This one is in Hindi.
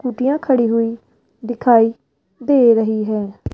कूटीयां खड़ी हुई दिखाई दे रही है।